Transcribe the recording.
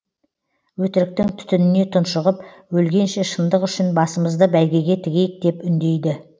өтіріктің түтініне тұншығып өлгенше шындық үшін басымызды бәйгеге тігейік деп үндейді